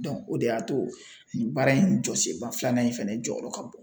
o de y'a to nin baara in jɔsenba filanan in fɛnɛ jɔyɔrɔ ka bon .